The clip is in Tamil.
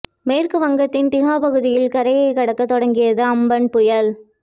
மேற்கு வங்கத்தின் திகா பகுதியில் கரையை கடக்க தொடங்கியது அம்பன் புயல்